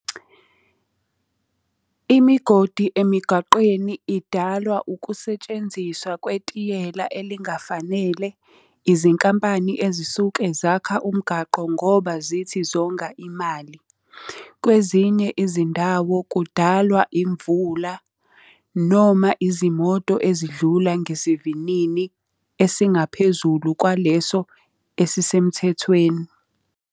Imigodi emigaqweni idalwa ukusetshenziswa kwetiyela elingafanele. Izinkampani ezisuke zakha umgaqo ngoba zithi zonga imali. Kwezinye izindawo kudalwa imvula, noma izimoto ezidlula ngesivinini esingaphezulu kwaleso esisemthethweni.